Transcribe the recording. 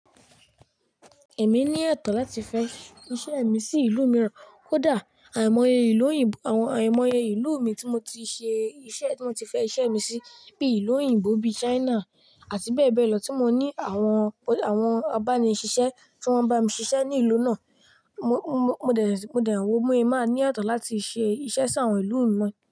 Èmi ní etọ̀ láti fẹ́ iṣẹ́ mi sí ìlú mìíràn, ó dà àìmọye ìlú òyìnbó, àwọn àìmọye ìlú mi tí mo ti ṣe iṣẹ́ tí mo ti fẹ́ iṣẹ́ mi sí bí ìlú òyìnbó bí China àti bẹ́ẹ̀ bẹ́ẹ̀ lọ tí mo ní àwọn, àwọn a ba ní ṣiṣẹ́ tí wọ́n bá mi ṣiṣẹ́ ní ìlú náà. Mo, mo, mo dẹ̀, mo dẹ̀ wọ́ mú ẹ máa ní ọ̀tọ̀ láti ṣe iṣẹ́ sí àwọn ìlú mìíràn.